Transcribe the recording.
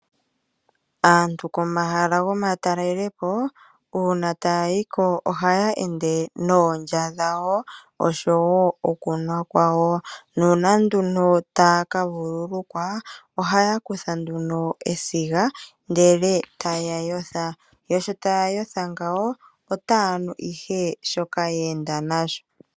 Aantu komahala gomatalelepo uuna taya yi ko ohaya ende noondya dhawo noshowo okunwa kwawo nuuna taya ka vululukwa ohaya kutha nduno esiga, ndele taya yotha. Yo sho taya yotha otaya nu ihe shoka ye enda nasho.